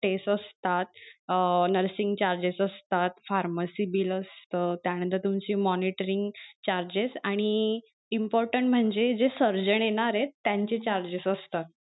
Test असतात अं nursing charges असतात pharmacy bill असत त्या नंतर तूमची monitoring charges आणि important म्हणजे जे surgeon येणारेत त्यांचे charges असतात.